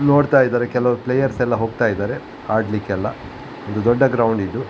ನೋಡ್ತಾ ಇದ್ದಾರೇ ಕೆಲವ್ ಪ್ಲೇಯರ್ಸ್ ಎಲ್ಲ ಹೋಗ್ತಾ ಇದಾರೆ ಆಡ್ಲಿಕ್ಕೆಲ್ಲ ಇದು ದೊಡ್ಡ ಗ್ರೌಂಡ್ ಇದು .